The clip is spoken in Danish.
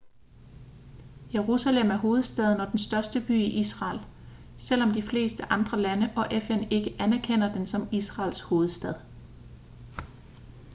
jerusalem er hovedstaden og den største by i israel selvom de fleste andre lande og fn ikke anerkender den som israels hovedstad